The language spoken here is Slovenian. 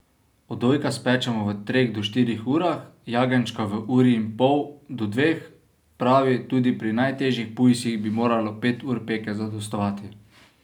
Odojka spečemo v treh do štirih urah, jagenjčka v uri in pol do dveh, pravi, tudi pri najtežjih pujsih bi moralo pet ur peke zadostovati.